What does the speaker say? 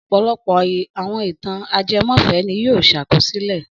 Ọ̀pọ̀lọpọ̀ àwọn ìtàn ajẹmọ́fẹ̀ẹ́ ni wọn yóò ṣàkọsílẹ̀.